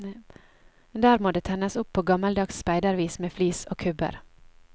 Der må det tennes opp på gammeldags speidervis med flis og kubber.